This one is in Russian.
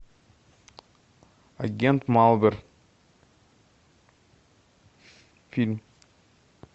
агент малдер фильм